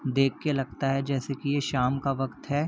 देख के लगता है जैसे की शाम का वक्त है।